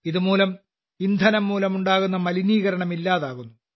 ഇതുവഴി ഇന്ധനം മൂലമുണ്ടാകുന്ന മലിനീകരണം ഇല്ലാതാകുന്നു